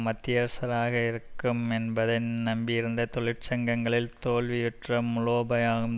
மத்தியஸ்தாராக இருக்கும் என்பதின் நம்பியிருந்த தொழிற்சங்கங்களின் தோல்வியுற்ற மூலோபாயம்